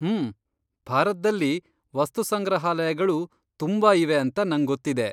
ಹ್ಮ್.. ಭಾರತ್ದಲ್ಲಿ ವಸ್ತುಸಂಗ್ರಹಾಲಯಗಳು ತುಂಬಾ ಇವೆ ಅಂತ ನಂಗೊತ್ತಿದೆ.